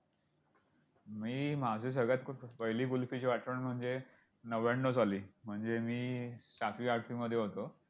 मी माझी सगळ्यात पहिली कुल्फीची आठवण म्हणजे नव्याण्णव साली म्हणजे मी सातवी आठवी मध्ये होतो.